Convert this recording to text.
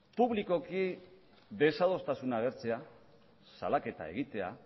publikoki desadostasuna agertzea salaketa egitea